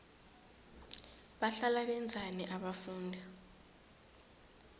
bahlala benzani abafundi